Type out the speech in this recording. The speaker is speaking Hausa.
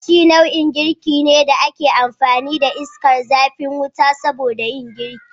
Gashi nau'in girki ne da ake amfani da iskar zafin wuta soboda yin girki